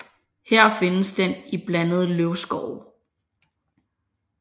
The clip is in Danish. Her findes den i blandede løvskove